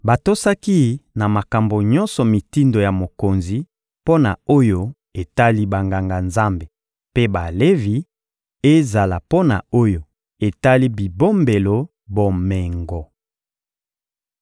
Batosaki na makambo nyonso mitindo ya mokonzi mpo na oyo etali Banganga-Nzambe mpe Balevi, ezala mpo na oyo etali bibombelo bomengo.